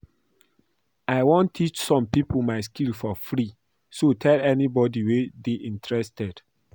I wan teach some people my skill for free so tell anybody wey dey interested